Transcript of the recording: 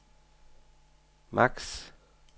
maks